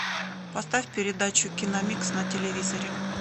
поставь передачу киномикс на телевизоре